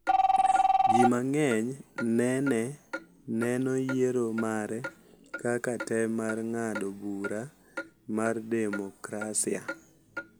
Ji mang’eny nene neno yiero mare kaka tem mar ng’ado bura mar demokrasia .